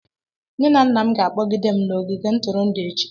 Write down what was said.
Nne na nna m ga-akpọga m n'ogige ntụrụndụ echi.